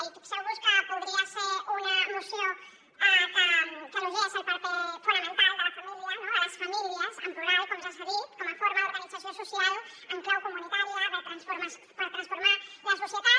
i fixeu vos que podria ser una moció que elogiés el paper fonamental de la família de les famílies en plural com ja s’ha dit com a forma d’organització social en clau comunitària per transformar la societat